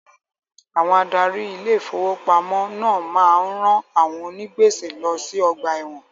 Àwọn adarí Ilé ìfowópamọ́ náà máa ń rán àwọn onì gbèsè lọ sí ọgbà ẹ̀wọ̀n.